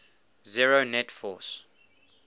zero net force